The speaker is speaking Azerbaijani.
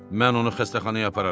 Mən onu xəstəxanaya apararam.